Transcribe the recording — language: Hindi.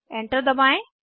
एंटर दबाएं